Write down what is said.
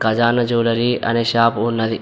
ఖజానా జ్యువెలరీ అనే షాపు ఉన్నది.